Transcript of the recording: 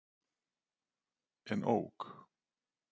En ók.